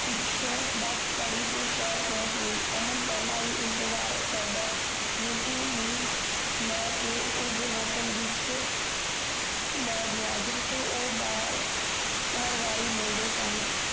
ਪਿੱਛੋਂ ਬਸ ਫੜ੍ਹੀ ਤੇ ਸ਼ਹਰ ਪੋਂਛ ਗਯੀ ਅਮਨ ਪੈਹਲਾਂ ਹੀ ਇੰਤਜਾਰ ਕਰਦਾ ਰਿਮਪੀ ਨੂੰ ਲੈਕੇ ਉਸ ਹੋਟਲ ਵਿਚ ਲੈ ਗਯਾ ਜਿੱਠੇ ਹੋਹ ਹਰ ਬਾਰੀ ਮਿਲਦੇ ਸਨ